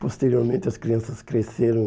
Posteriormente, as crianças cresceram.